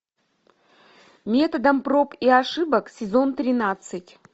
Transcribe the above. методом проб и ошибок сезон тринадцать